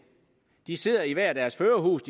de sidder i hver deres førerhus